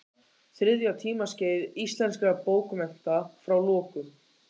Þriðja tímaskeið íslenskra bókmennta, frá lokum